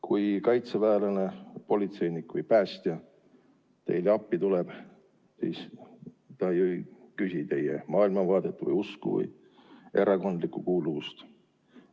Kui kaitseväelane, politseinik või päästja teile appi tuleb, siis ta ju ei küsi teie maailmavaate, usuliste tõekspidamiste ega erakondliku kuuluvuse kohta.